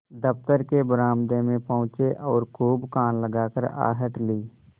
दफ्तर के बरामदे में पहुँचे और खूब कान लगाकर आहट ली